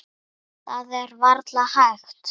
Það er varla hægt.